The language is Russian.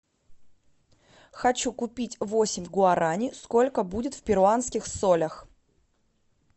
хочу купить восемь гуарани сколько будет в перуанских солях